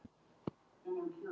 Og við þökkum forseta okkar